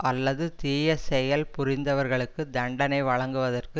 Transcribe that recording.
அல்லது தீய செயல் புரிந்தவர்களுக்கு தண்டனை வழங்குவற்கு